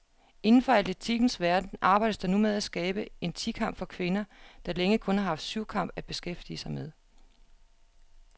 Inden for atletikkens verden arbejdes der nu med at skabe en ti kamp for kvinder, der længe kun har haft syvkamp at beskæftige med.